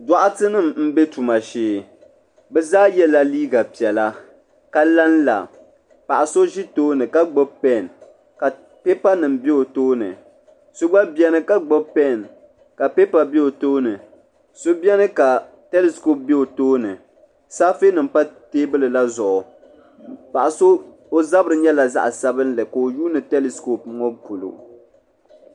Doɣatɛ nima m be tuma shee bɛ zaa yela liiga piɛllia ka lanla paɣa so ʒi tooni ka gbibi peni ka pipa nima be o tooni so gba biɛni ka gbibi peni ka pipa be o tooni so biɛni ka telisikoopi be o tooni saafe nima pa teebuli la zuɣu paɣa so o zabri nyɛla zaɣa sabinli ka o gba yuuni telisikoopi ŋɔ polo.